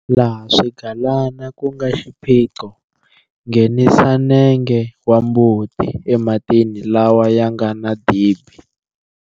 Laha swigalana ku nga xiphiqo, nghenisa nenge wa mbuti ematini lawa ya nga na dibi.